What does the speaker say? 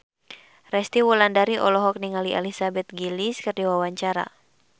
Resty Wulandari olohok ningali Elizabeth Gillies keur diwawancara